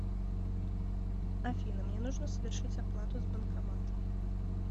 афина мне нужно совершить оплату с банкомата